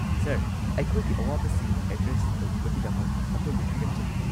Sir, ꯑꯩꯈꯣꯏꯒꯤ ꯑꯋꯥꯕꯁꯤꯡ address ꯇꯧꯕꯤꯕꯒꯤꯗꯃꯛ ꯑꯗꯣꯝꯕꯨ ꯊꯥꯒꯠꯆꯔꯤ꯫